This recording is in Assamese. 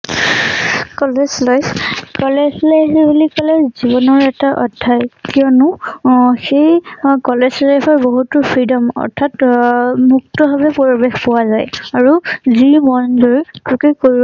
কলেজ life, কলেজ life বুলি কলে জীবনৰ এটা অধ্যায়, কিওনো সেই কলেজ life ত বহুতো freedom, অথ্যাৎ মুক্তাভাৱে পৰিবেশ পোৱা যায়, আৰু যি মন যায়, তাকে কৰিব